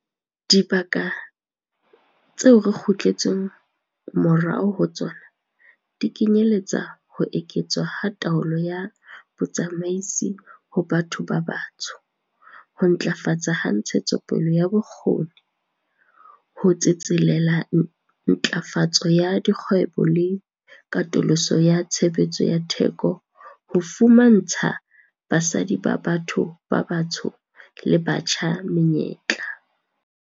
Dibaka tseo re kgutletseng morao ho tsona di kenyeletsa ho eketswa ha taolo ya botsamaisi ho batho ba batsho, ho ntlafatswa ha ntshetsopele ya bokgoni, ho tsetselela ntlafatso ya dikgwebo le katoloso ya tshebetso ya theko ho fumantsha basadi ba batho ba batsho le batjha menyetla.